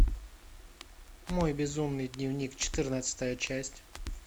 мой безумный дневник четырнадцатая часть